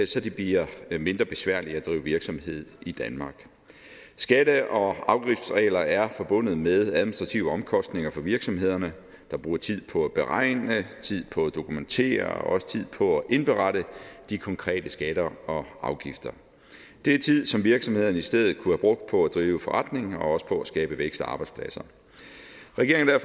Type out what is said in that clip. så det bliver mindre besværligt at drive virksomhed i danmark skatte og afgiftsregler er forbundet med administrative omkostninger for virksomhederne der bruger tid på at beregne tid på at dokumentere og også tid på at indberette de konkrete skatter og afgifter det er tid som virksomhederne i stedet kunne have brugt på at drive forretning og også på at skabe vækst og arbejdspladser regeringen er